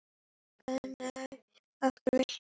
Gangi okkur vel.